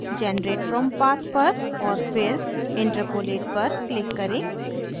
generate from path पर और फिर interpolate पर click करें